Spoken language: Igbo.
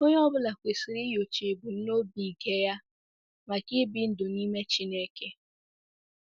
Onye ọ bụla kwesịrị inyocha ebumnobi nke ya maka ibi ndụ n’ime Chineke.